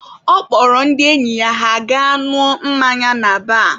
Ọ kpọrọ ndị enyi ya ha gaa ṅụọ mmanya na baar.